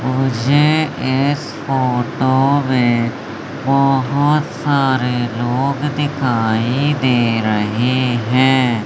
मुझे इस फोटो में बहुत सारे लोग दिखाई दे रहे हैं।